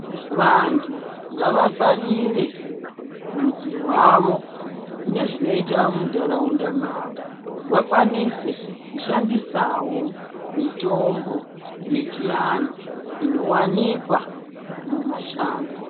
Vantu ngavafarire rufzi rwavo nezvinoitwa muntaraunda mavo vakwanise kushandisa wo mitombo yechiantu ino wanikwa mumashango.